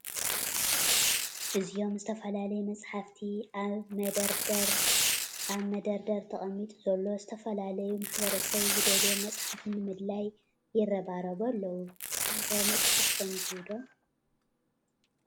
እዚኦም ዝተፈላለዮ መፃሐፍቲ አብ መደርደ ተቀሚጡ ዘሎ ዝተፈላለዮ ማሕበረሰብ ዝደለዮዎ መፅሐፍ ንምድላይ ይረባረቡ አለው ። ንሰኩም ከ መፅሐፍ ተንቡ ዶ?